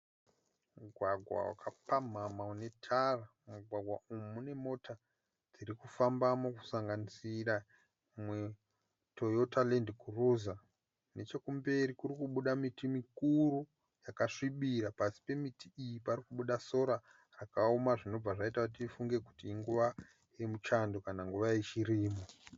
Mugwagwa wakapamhama une tara. Mumugwagwa umu mune mota dzirikufambamo kusanganisira Toyota land cruiser . Nechekumberi kurikubuda miti mikuru yakasvibira, pasi pemiti iyi parikubuda sora rakaoma zvinobva zvaita kuti tifunge kuti inguva yemuchando kana nguva yechirimo.